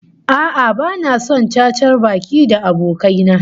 A'a, bani son cacar baki da abokai na